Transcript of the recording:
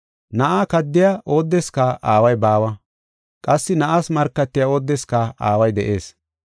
Na7aa kaddiya oodeska Aaway baawa; qassi Na7aas markatiya oodeska Aaway de7ees.